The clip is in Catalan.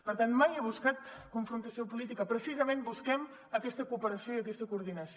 per tant mai ha buscat confrontació política precisament busquem aquesta cooperació i aquesta coordinació